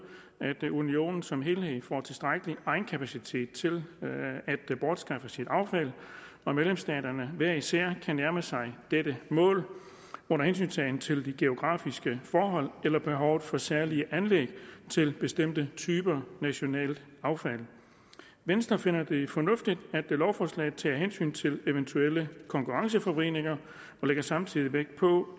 at unionen som helhed får tilstrækkelig egenkapacitet til at bortskaffe sit affald og medlemsstaterne hver især nærme sig dette mål under hensyntagen til de geografiske forhold eller behovet for særlige anlæg til bestemte typer af nationalt affald venstre finder det fornuftigt at lovforslaget tager hensyn til eventuelle konkurrenceforvridninger og lægger samtidig vægt på